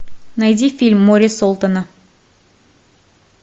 найди фильм море солтона